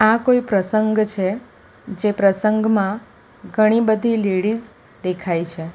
આ કોઈ પ્રસંગ છે જે પ્રસંગમાં ઘણી બધી લેડીઝ દેખાય છે.